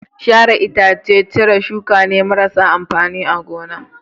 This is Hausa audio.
Sharar ita ce cire shuka marasa amfani a gona